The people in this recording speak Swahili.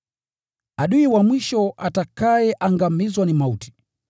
Adui wa mwisho atakayeangamizwa ni mauti.